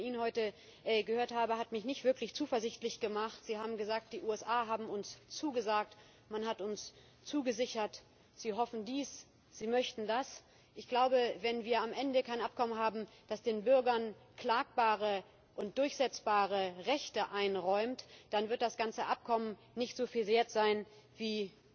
Alles, was ich von Ihnen heute gehört habe, hat mich nicht wirklich zuversichtlich gemacht. Sie haben gesagt Die USA haben uns zugesagt, man hat uns zugesichert, Sie hoffen dies, Sie möchten das. Ich glaube, wenn wir am Ende kein Abkommen haben, das den Bürgern klagbare und durchsetzbare Rechte einräumt, dann wird das ganze Abkommen nicht so viel wert sein wie